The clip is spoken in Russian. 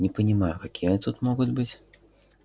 не понимаю какие тут могут быть